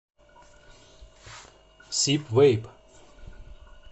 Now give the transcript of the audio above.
сиб вейп